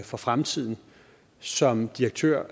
for fremtiden som direktør